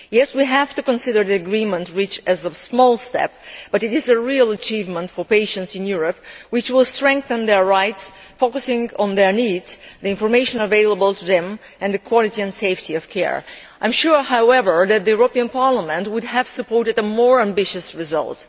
We have to consider the agreement reached as a small step, but it is a real achievement for patients in Europe, which will strengthen their rights while focusing on their needs, the information available to them, and the quality and safety of care. I am sure, however, that Parliament would have supported a more ambitious result.